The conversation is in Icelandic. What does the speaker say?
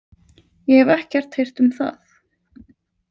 Ég hef ekkert heyrt um það